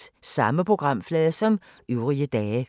Samme programflade som øvrige dage